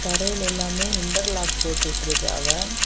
தரையில எல்லாமே interlock போட்டுட்டு இருக்காங்க.